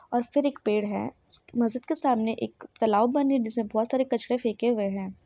और फिर एक पेड़ है मस्जिद के सामने एक तलाब बनी हुई है जिसमें बहुत सारे कचरे फेके हुए है।